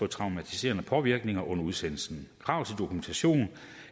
traumatiserende påvirkninger under udsendelsen krav til dokumentation